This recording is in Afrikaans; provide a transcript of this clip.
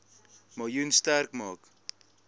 miljoen sterk maak